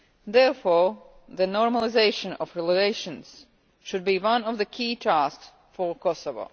Therefore, the normalisation of relations should be one of the key tasks for Kosovo.